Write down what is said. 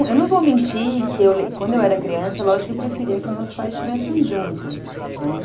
É, eu não vou mentir que quando eu era criança, lógico que eu preferia que meus pais estivessem juntos, né?